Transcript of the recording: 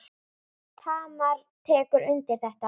Tamar tekur undir þetta.